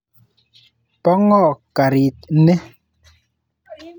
Po ng'o karit ni?